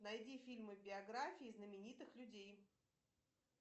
найди фильмы биографии знаменитых людей